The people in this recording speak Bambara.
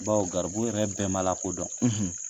Bawo garibu yɛrɛ bɛɛ ma lakodɔn